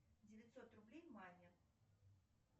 девятьсот рублей маме